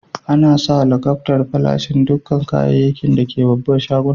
Ana sa lakabtar farashi a dukan kayakin da ke a'babban shagunan.